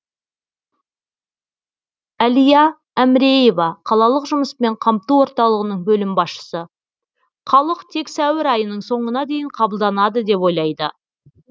әлия әміреева қалалық жұмыспен қамту орталығының бөлім басшысы халық тек сәуір айының соңына дейін қабылданады деп ойлайды